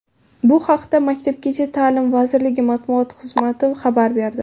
Bu haqda Maktabgacha ta’lim vazirligi matbuot xizmati xabar berdi.